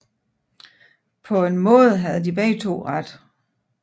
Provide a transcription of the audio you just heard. Paa en Maade havde de begge Ret